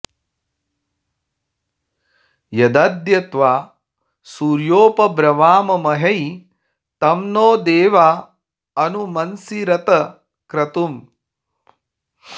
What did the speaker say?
यदद्य त्वा सूर्योपब्रवामहै तं नो देवा अनु मंसीरत क्रतुम्